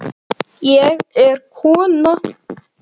Ég er kona